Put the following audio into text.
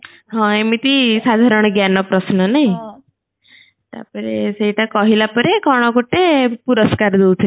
ହଁ ଏମିତି ସାଧାରଣ ଜ୍ଞାନ ପ୍ରଶ୍ନ ନାହିଁ ତାପରେ ସେଇଟା କହିଲା ପରେ କଣ ଗଟେ ପୁରସ୍କାର ଦୋଉଥିଲେ